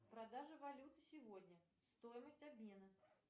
продажа валюты сегодня стоимость обмена